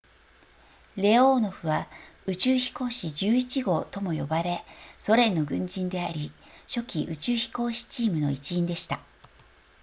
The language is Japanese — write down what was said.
レオーノフは宇宙飛行士11号とも呼ばれソ連の軍人であり初期宇宙飛行士チームの一員でした